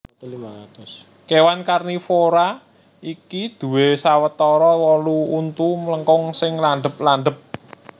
Kèwan karnivora iki duwè sawetara wolu untu mlengkung sing landhep landhep